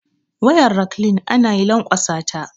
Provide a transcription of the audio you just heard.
Wayar raklin anayi lankwasata